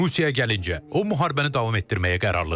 Rusiyaya gəlincə, o müharibəni davam etdirməyə qərarlıdır.